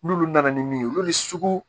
N'olu nana ni min ye olu sugu